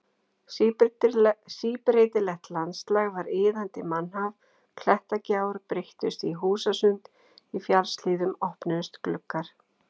Síbreytilegt landslagið var iðandi mannhaf, klettagjár breyttust í húsasund, í fjallshlíðum opnuðust gluggar.